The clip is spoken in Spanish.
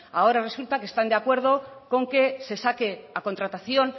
ahora resulta que están de acuerdo con que se saque a contratación